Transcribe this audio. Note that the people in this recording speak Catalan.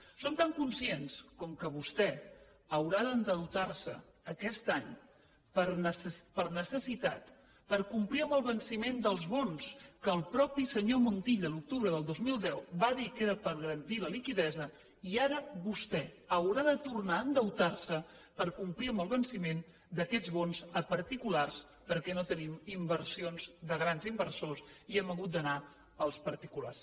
en som tan conscients com que vostè haurà d’endeutar se aquest any per necessitat per complir amb el venciment dels bons que el mateix senyor montilla l’octubre de dos mil deu va dir que era per garantir la liquiditat i ara vostè haurà de tornar a endeutar se per complir amb el venciment d’aquests bons a particulars perquè no tenim inversions de grans inversors i hem hagut d’anar als particulars